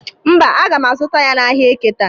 Mba, aga m azụta ya n'ahịa eke taa.